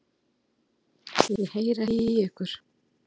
Ég heyri ekki í ykkur.